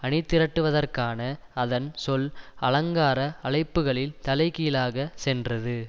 அணிதிரட்டுவதற்கான அதன் சொல் அலங்கார அழைப்புக்களில் தலைகீழாக சென்றது